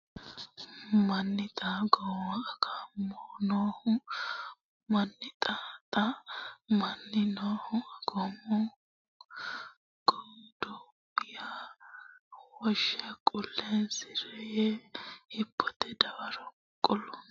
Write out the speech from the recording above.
manni Xa godowa Agummo noohu manni Xa Xa manni noohu Agummo godowa ya wonshe qulleessi re yee hibbote dawaro kulanno !